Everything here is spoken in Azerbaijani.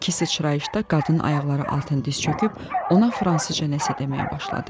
İki sıçrayışda qadın ayaqları altı diz çöküb ona fransızca nəsə deməyə başladı.